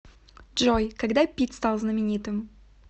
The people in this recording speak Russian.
джой когда питт стал знаменитым